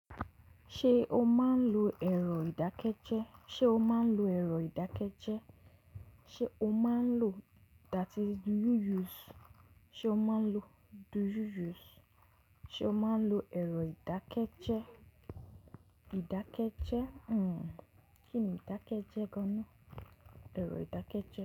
Ṣé o máa ń lo ẹ̀rọ ìdákẹ́jẹ́? Se o maa n lo? That is, do you use? Se o maa n lo, do you use? Se o maa n lo ero idakeje. Idakeje- hmm. Ki ni idakeje gan an na? Ero idakeje.